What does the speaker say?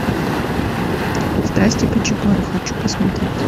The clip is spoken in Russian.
страсти по чапаю хочу посмотреть